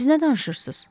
Siz nə danışırsınız?